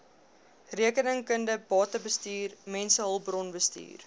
rekeningkunde batebestuur mensehulpbronbestuur